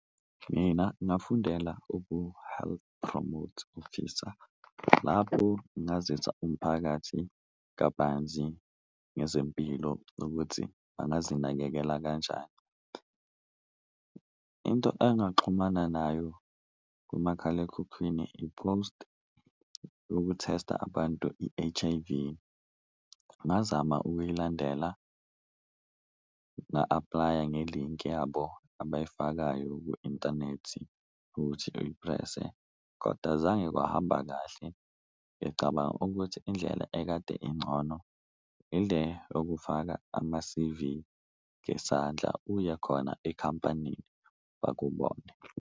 Mina ngafundela ubu-Health Promote Officer lapho ngazisa umphakathi kabanzi ngezempilo ukuthi bangazinakekela kanjani, into engaxhumana nayo kumakhalekhukhwini i-post yoku-tester abantu i-H_I_V. Ngazama ukuyilandela nga-apply-a ngelinki yabo abayifakayo kwi-intanethi ukuthi uyi-press-e koda azange kwahamba kahle, ngicabanga ukuthi indlela ekade ingcono ile okufaka ama-C_V ngesandla, uye khona ekhampanini bakubone.